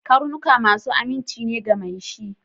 Karnuka masu aminci ne ga mai shi